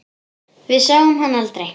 Við sáum hann aldrei.